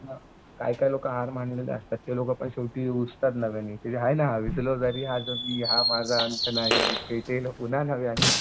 काही काही लोकं हार मानलेले असतात. ते लोकं पण शेवटी नव्याने त्याची हाय ना हा माझा अंत नाही. पुन्हा नव्याने